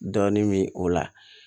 Dɔɔnin min o la